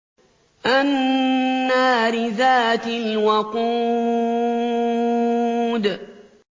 النَّارِ ذَاتِ الْوَقُودِ